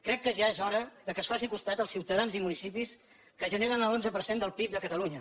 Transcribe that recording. crec que ja és hora que es faci costat als ciutadans i municipis que generen l’onze per cent del pib de catalunya